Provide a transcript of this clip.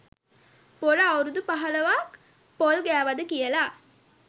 පොර අවුරුදු පහලොවක් පොල් ගෑවද කියලා.